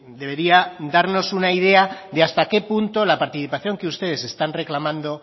debería darnos una idea de hasta qué punto la participación que ustedes están reclamando